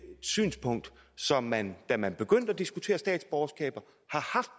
synspunkt som man da man begyndte at diskutere statsborgerskaber